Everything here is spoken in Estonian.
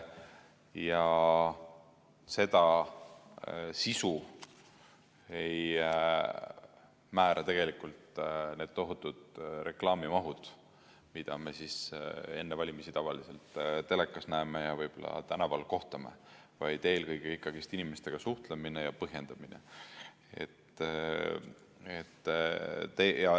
Ja seda sisu ei määra need tohutud reklaamimahud, mida me enne valimisi tavaliselt telekast näeme ja võib-olla tänaval kohtame, vaid eelkõige ikkagi inimestega suhtlemine ja põhjendamine.